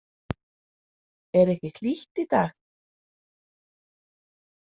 Er ekki hlýtt í dag?